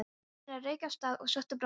Svenni rauk af stað og sótti brókina.